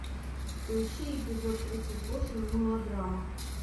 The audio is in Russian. поищи эпизод тридцать восемь мылодрама